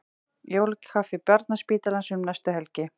Jólakaffi Barnaspítalans um næstu helgi